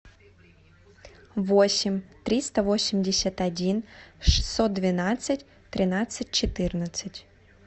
восемь триста восемьдесят один шестьсот двенадцать тринадцать четырнадцать